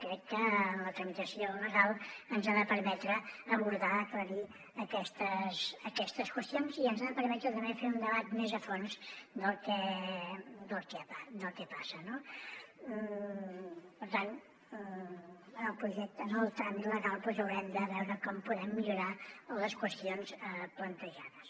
crec que la tramitació legal ens ha de permetre abordar aclarir aquestes qüestions i ens ha de permetre també fer un debat més a fons del que passa no per tant en el projecte en el tràmit legal doncs haurem de veure com podem millorar les qüestions plantejades